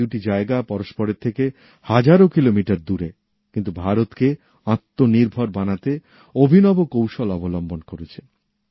এই দুটি জায়গা পরস্পরের থেকে হাজারো কিলোমিটার দূরে কিন্তু ভারতকে আত্মনির্ভর বানাতে অভিনব কৌশল অবলম্বন করেছে